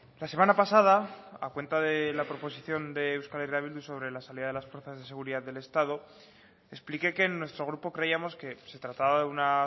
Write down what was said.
la semana pasada a cuenta de la proposición de euskal herria bildu sobre la salida de las fuerzas de seguridad del estado expliqué que en nuestro grupo creíamos que se trataba de una